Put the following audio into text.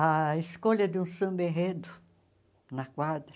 A escolha de um samba-enredo na quadra.